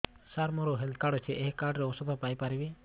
ସାର ମୋର health card ଅଛି ଏହି କାର୍ଡ ରେ ଔଷଧ ପାଇପାରିବି